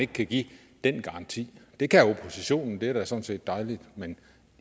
kan give den garanti det kan oppositionen og det er da sådan set dejligt men